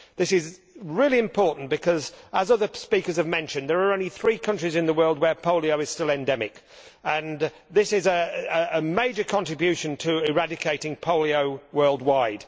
This is really important because, as other speakers have mentioned, there are only three countries in the world where polio is still endemic and this is a major contribution to eradicating polio worldwide.